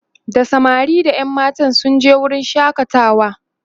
da samari da ƴan matan sun je wurin shakatawa